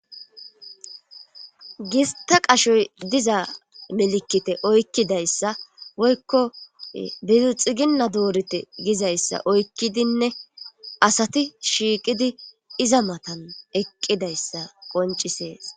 Gista qashoy diza melikite oykkidayssa woykko dizu xiginna doorete gizayssa oykkidinne asati shiiqidi iza matan eqqidayssa qoncisees.